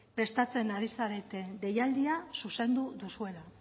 prestatzen ari zareten deialdia zuzendu duzuela